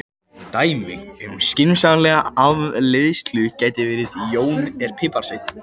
Dæmi um skynsamlega afleiðslu gæti verið: Jón er piparsveinn.